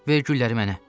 ver gülləri mənə.